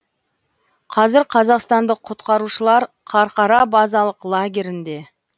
қазір қазақстандық құтқарушылар қарқара базалық лагерінде